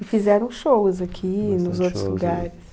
E fizeram shows aqui, nos outros lugares.